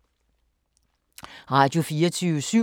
Radio24syv